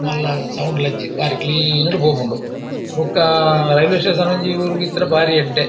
ಮಲ್ಲ ಸೌಂಡ್‌ಲ ಇಜ್ಜಿ ಬಾರಿ ಕ್ಲೀನ್‌ಡ್ ಪೋಪುಂಡು‌ ಬುಕ್ಕ ರೈಲ್ವೇ ಸ್ಟೇಶನ್‌ ಒಂಜಿ ಊರ್‌ಗ್‌ ಇತ್ತಂಡ ಬಾರಿ ಎಡ್ಡೆ.